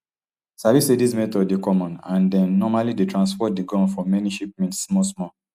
sabi say dis method dey common and dem normally dey transport di guns for many shipments smallsmall